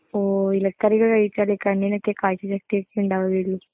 ഓ, ഇലക്കറികൾ കഴിച്ചാലെ കണ്ണിനൊക്കെ കാഴ്ച്ച ശക്തിയൊക്കെ ഉണ്ടാവുകയുള്ളൂ